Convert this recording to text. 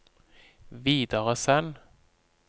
videresend